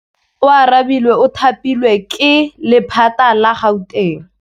Oarabile o thapilwe ke lephata la Gauteng.